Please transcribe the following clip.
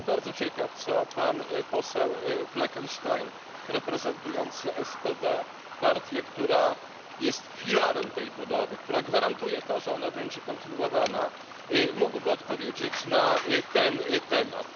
Ja jestem bardzo ciekaw, co pan poseł Fleckenstein, reprezentujący SPD partię, która jest filarem tej budowy, która gwarantuje to, że ona będzie kontynuowana, mógłby odpowiedzieć na ten temat.